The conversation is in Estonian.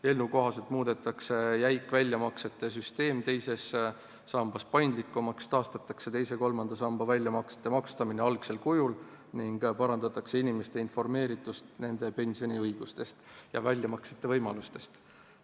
Eelnõu kohaselt muudetaks jäik väljamaksete süsteem teise samba puhul paindlikumaks, taastataks teise ja kolmanda samba väljamaksete maksustamine algsel kujul ning parandataks inimeste informeeritust nende pensioniga seotud õigustest ja väljamaksete võimalustest.